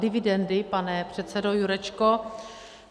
Dividendy, pane předsedo Jurečko.